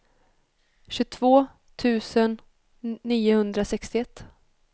tjugotvå tusen niohundrasextioett